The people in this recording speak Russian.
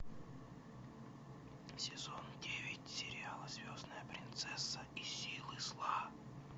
сезон девять сериала звездная принцесса и силы зла